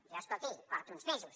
jo escolti porto uns mesos